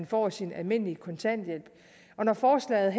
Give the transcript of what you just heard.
får sin almindelige kontanthjælp når forslaget